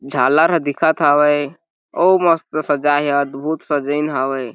झालर ह दिखत हावय अउ मस्त सजाई अदभुत सजाइन हावे ।